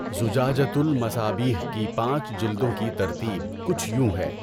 زُجَاجَۃُ المَصابِیح کی پانچ جِلدوں کی ترتیب کچھ یوں ہے۔